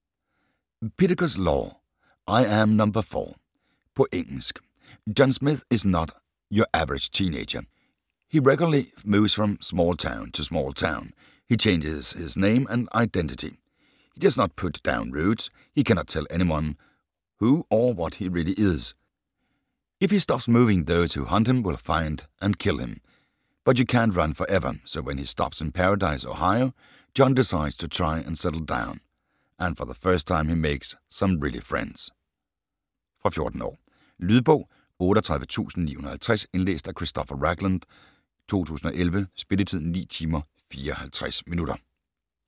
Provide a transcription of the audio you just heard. Pittacus, Lore: I am Number Four På engelsk. John Smith is not your average teenager. He regularly moves from small town to small town. He changes his name and identity. He does not put down roots. He cannot tell anyone who or what he really is. If he stops moving those who hunt him will find and kill him. But you can't run forever. So when he stops in Paradise, Ohio, John decides to try and settle down. And for the first time he makes some real friends. Fra 14 år. Lydbog 38950 Indlæst af Christopher Ragland, 2011. Spilletid: 9 timer, 54 minutter.